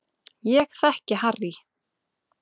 Ég þekki Harry